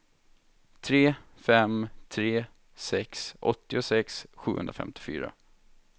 tre fem tre sex åttiosex sjuhundrafemtiofyra